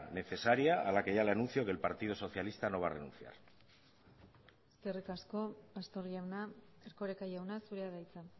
necesaria a la que ya le anuncio que el partido socialista no va a renunciar eskerrik asko pastor jauna erkoreka jauna zurea da hitza